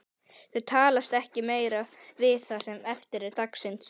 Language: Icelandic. Þau talast ekki meira við það sem eftir er dagsins.